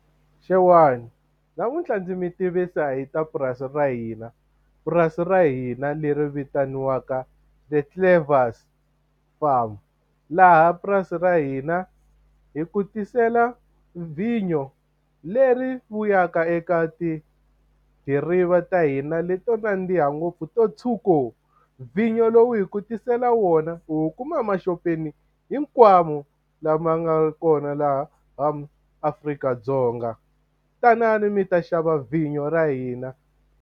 Xewani. Namuntlha ndzi mi tivisa hi ta purasi ra hina, purasi ra hina leri vitaniwaka The Clevers Farm. Laha purasi ra hina hi ku tisela vinyo leri vuyaka eka tidiriva ta hina leto nandziha ngopfu to tshuka. Vinyo lowu hi ku tisela wona u kuma emaxopeni hinkwawo lama nga kona laha Afrika-Dzonga. Tanani mi ta xava vinyo ra hina.